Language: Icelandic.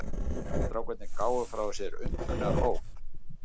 Strákarnir gáfu frá sér undrunaróp.